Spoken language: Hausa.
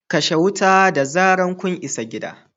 kashe wuta da zarar kun isa gidan